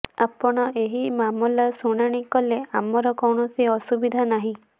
ଆପଣ ଏହି ମାମଲା ଶୁଣାଣି କଲେ ଆମର କୌଣସି ଅସୁବିଧା ନାହିଁ